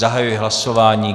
Zahajuji hlasování.